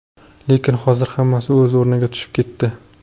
Lekin hozir hammasi o‘z o‘rniga tushib ketdi.